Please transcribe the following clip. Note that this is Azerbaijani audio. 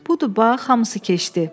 Budur bax, hamısı keçdi.